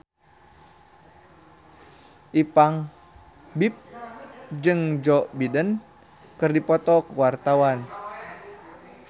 Ipank BIP jeung Joe Biden keur dipoto ku wartawan